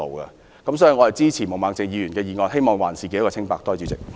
基於上述原因，我支持毛孟靜議員的議案，希望還自己一個清白。